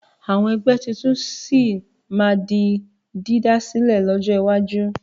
Àwọn ẹgbẹ́ tuntun sì máa di dídásílẹ̀ lọ́jọ́ iwájú.